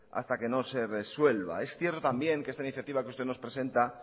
hasta que no se resuelva es cierto también que esta iniciativa que usted nos presenta